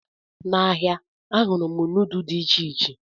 N'ahịa, ahụrụ m nudu dị iche iche.